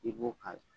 I b'o k'a la